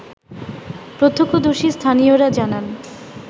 প্রত্যক্ষদর্শী স্থানীয়রা জানান